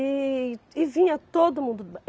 E e vinha todo mundo.